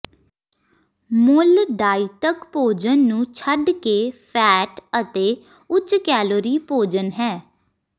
ਮੁੱਲ ਡਾਇਿਟਕ ਭੋਜਨ ਨੂੰ ਛੱਡ ਕੇ ਫ਼ੈਟ ਅਤੇ ਉੱਚ ਕੈਲੋਰੀ ਭੋਜਨ ਹੈ